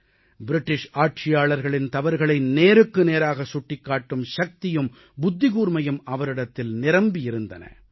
ஆங்கிலேய ஆட்சியாளர்களின் தவறுகளை நேருக்கு நேராகச் சுட்டிக் காட்டும் சக்தியும் புத்திக்கூர்மையும் அவரிடத்தில் நிரம்பி இருந்தன